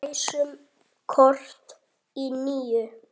Ræsum kort í níu.